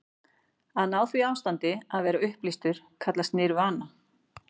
Að ná því ástandi, að vera upplýstur, kallast nirvana.